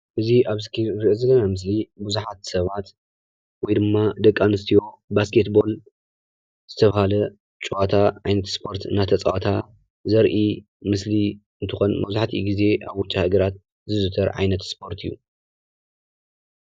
እዚ ኣብ እስክሪን ንሪኦ ዘለና ምስሊ ብዙሓት ሰባት ወይ ድማ ደቂ ኣንስትዮ ባስኬት ቦል ዝተብሃለ ጨዋታ ዓይነት ስፖርት እናተፃወታ ዘርኢ ምስሊ እንትኮን መብዛሕቲኡ ግዘ ኣብ ዉጪ ሃገራት ዝዝውተር ዓይነት ስፖርት እዩ ።